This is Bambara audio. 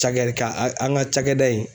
Cakɛ ka a an ŋa cakɛda in